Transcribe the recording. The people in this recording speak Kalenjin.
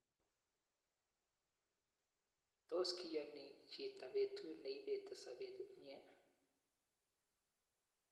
Tos kiyon hin chito petu neipeti sopet nyi?